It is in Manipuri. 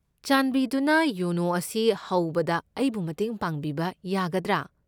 ꯆꯥꯟꯕꯤꯗꯨꯅ ꯌꯣꯅꯣ ꯑꯁꯤ ꯍꯧꯕꯗ ꯑꯩꯕꯨ ꯃꯇꯦꯡ ꯄꯥꯡꯕꯤꯕ ꯌꯥꯒꯗ꯭ꯔꯥ?